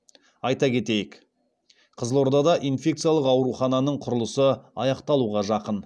айта кетейік қызылордада инфекциялық аурухананың құрылысы аяқталуға жақын